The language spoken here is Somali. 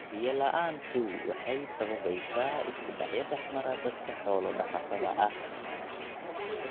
Biyo la�aantu waxay sababaysaa isku dhacyo dhexmara dadka xoolo dhaqatada ah.